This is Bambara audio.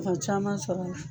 Fa caman sɔrɔ